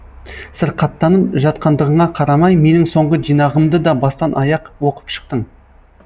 сырқаттанып жатқандығыңа қарамай менің соңғы жинағымды да бастан аяқ оқып шықтың